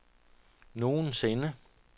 nogensinde